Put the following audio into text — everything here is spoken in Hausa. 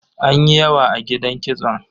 Anyi yawa a gidan kitson.